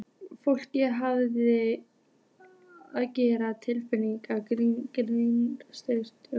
Fólk þarf að geta treyst galleríunum.